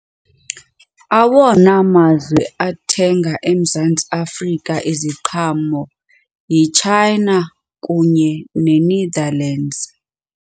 Awona mazwe athenga eMzantsi Afrika iziqhamo yiChina kunye neNetherlands.